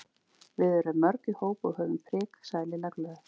Við erum mörg í hóp og höfum prik sagði Lilla glöð.